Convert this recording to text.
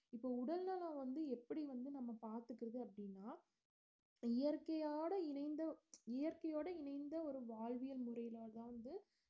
இப்ப உடல் நலம் வந்து எப்படி வந்து நம்ம பாத்துக்கறது அப்படின்னா இயற்கையாடு இணைந்து இயற்கையோடு இணைந்த ஒரு வாழ்வியல் முறையிலதான் வந்து